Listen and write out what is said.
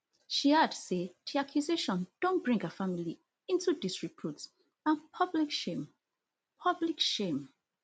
she add say di accusation don bring her family into disrepute and public shame public shame